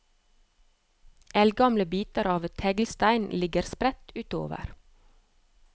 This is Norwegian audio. Eldgamle biter av teglstein ligger spredt utover.